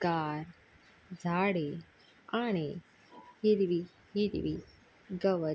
गार झाडे आणि हिरवी हिरवी गवत --